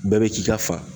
Bɛɛ bɛ k'i ka fa